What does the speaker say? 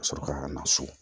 Ka sɔrɔ ka na so